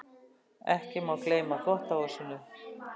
Ekki má gleyma þvottahúsinu.